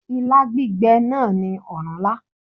Ilá gbígbẹ̀ náà ni ọ̀rúnlá